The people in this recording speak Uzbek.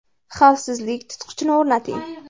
Xavfsizlik tutqichini o‘rnating.